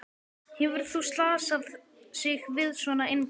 Hefur þú slasað sig við svona innkast?